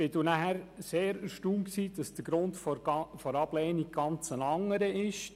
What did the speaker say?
Daher war ich sehr erstaunt als ich sah, dass der Grund der Ablehnung ein ganz anderer ist.